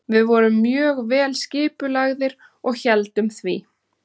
Við vorum mjög vel skipulagðir og héldum því.